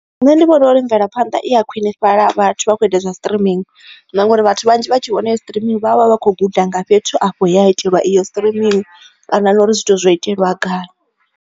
Nṋe ndi vhona uri mvelaphanḓa i ya khwinifhaḽa vhathu vha kho ita zwa streaming na ngauri vhathu vhanzhi vha tshi vhona streaming vhavha vha khou guda nga fhethu afho ya itelwa iyo streaming kana nori zwithu zwo itelwa gai.